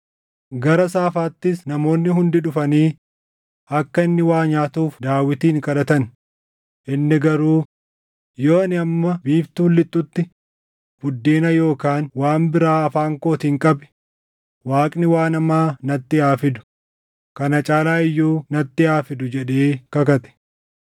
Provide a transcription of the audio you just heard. Gara saafaattis namoonni hundi dhufanii akka inni waa nyaatuuf Daawitin kadhatan; inni garuu, “Yoo ani hamma biiftuun lixxutti buddeena yookaan waan biraa afaan kootiin qabe Waaqni waan hamaa natti haa fidu; kana caalaa iyyuu natti haa fidu!” jedhee kakate.